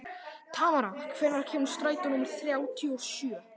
Tamara, hvenær kemur strætó númer þrjátíu og sjö?